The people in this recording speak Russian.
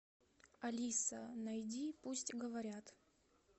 алиса найди пусть говорят